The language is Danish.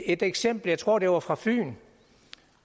et eksempel jeg tror det var fra fyn